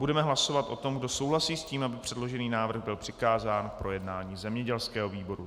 Budeme hlasovat o tom, kdo souhlasí s tím, aby předložený návrh byl přikázán k projednání zemědělskému výboru.